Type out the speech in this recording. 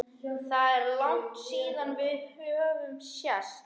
Það er langt síðan við höfum sést